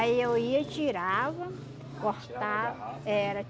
Aí eu ia e tirava, cortava. Era